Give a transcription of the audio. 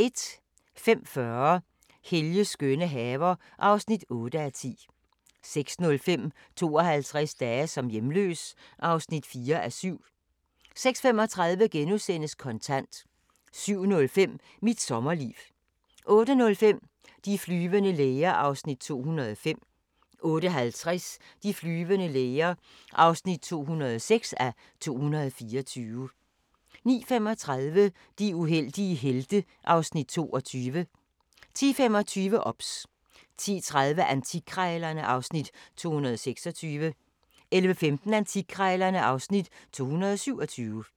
05:40: Helges skønne haver (8:10) 06:05: 52 dage som hjemløs (4:7) 06:35: Kontant * 07:05: Mit sommerliv 08:05: De flyvende læger (205:224) 08:50: De flyvende læger (206:224) 09:35: De uheldige helte (Afs. 22) 10:25: OBS 10:30: Antikkrejlerne (Afs. 226) 11:15: Antikkrejlerne (Afs. 227)